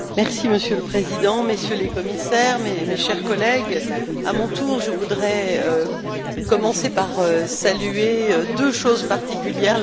Monsieur le Président, Messieurs les Commissaires, chers collègues, à mon tour, je voudrais commencer par saluer deux choses particulières.